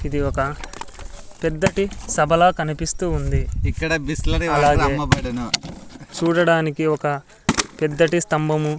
ఇది ఒక పెద్దటి సభలా కనిపిస్తూ ఉంది అలాగే చూడటానికి ఒక పెద్దటి స్తంభము.